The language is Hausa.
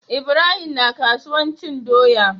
Ibrahim na kasuwan cin doya